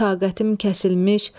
Taqətim kəsilmiş.